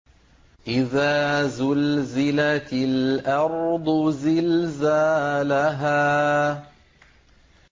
إِذَا زُلْزِلَتِ الْأَرْضُ زِلْزَالَهَا